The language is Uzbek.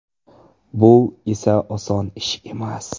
Bu esa oson ish emas.